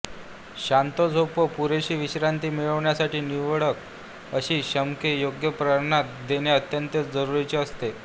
शांत झोप व पुरेशी विश्रांती मिळण्यासाठी निवडक अशी शामके योग्य प्रमाणात देणे अत्यंत जरुरीचे असते